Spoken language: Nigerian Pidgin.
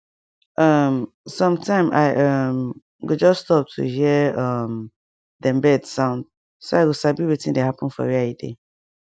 um sometime i um go just stop to hear um dem bird sound so i go sabi wetin dey happen for where i dey